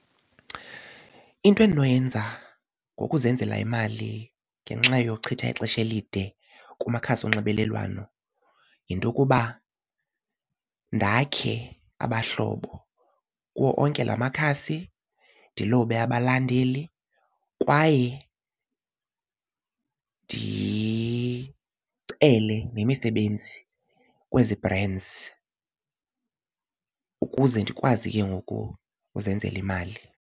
Into endinoyenza ngokuzenzela imali ngenxa yochitha ixesha elide kumakhasi onxibelelwano yinto yokuba ndakhe abahlobo kuwo onke la makhasi ndilobe abalandeli kwaye ndicele nemisebenzi kwezi brands ukuze ndikwazi ke ngoku uzenzela imali.